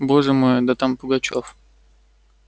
боже мой да там пугачёв